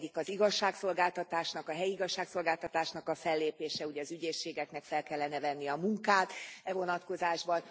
Az egyik az igazságszolgáltatásnak, a helyi igazságszolgáltatásnak a fellépése, ugye az ügyészségeknek fel kellene venni a munkát e vonatkozásban.